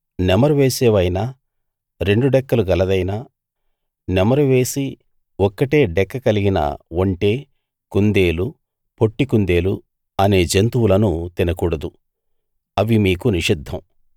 నెమరు వేసేవైనా రెండు డెక్కలు గలదైనా నెమరు వేసి ఒక్కటే డెక్క కలిగిన ఒంటె కుందేలు పొట్టి కుందేలు అనే జంతువులను తినకూడదు అవి మీకు నిషిద్ధం